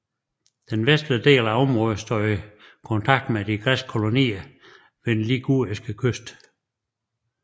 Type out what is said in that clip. Den vestlige del af området stod i kontakt med de græske kolonier ved den liguriske kyst